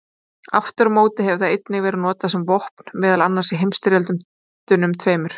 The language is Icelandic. Aftur á móti hefur það einnig verið notað sem vopn, meðal annars í heimsstyrjöldunum tveimur.